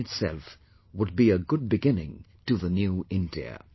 This in itself would be a good beginning to the New India